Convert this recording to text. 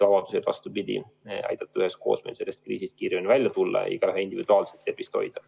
Vastupidi, peame püüdma üheskoos kriisist kiiremini välja tulla ja igaühe tervist hoida.